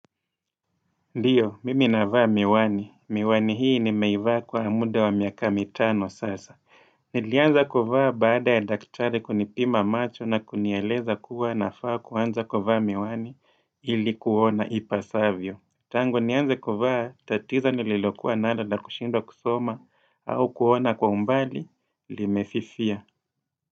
Ndiyo, mimi navaa miwani. Miwani hii ni meivaa kwa amude wa miaka mitano sasa. Nilianza kuvaa baada ya daktari kunipima macho na kunieleza kuwa nafaa kuwanza kuvaa miwani ilikuona ipasavyo. Tango nianze kuvaa tatizo nililokuwa nalo la kushindo kusoma au kuona kwa umbali limefifia.